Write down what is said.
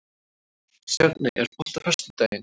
Stjarney, er bolti á föstudaginn?